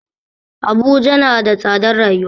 Abuja na da tsadar rayuwa